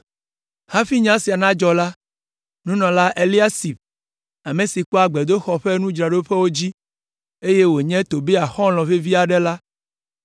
Hafi nya sia nadzɔ la, Nunɔla Eliasib, ame si kpɔa gbedoxɔ la ƒe nudzraɖoƒewo dzi, eye wònye Tobia xɔlɔ̃ vevi aɖe la,